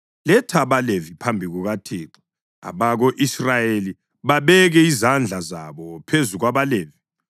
Letha abaLevi phambi kukaThixo, abako-Israyeli babeke izandla zabo phezu kwabaLevi.